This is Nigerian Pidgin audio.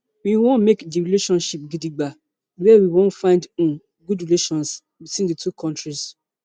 we wan make di relationship gidigba wia we wan find um good relations between di two kontris